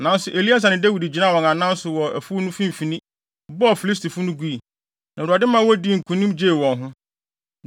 Nanso Eleasar ne Dawid gyinaa wɔn anan so wɔ afuw no mfimfini, bɔɔ Filistifo no gui. Na Awurade ma wodii nkonim de gyee wɔn.